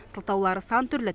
сылтаулары сан түрлі